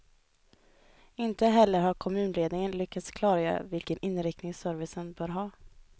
Inte heller har kommunledningen lyckats klargöra vilken inriktning servicen bör ha.